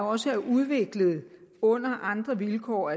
også er udviklet under andre vilkår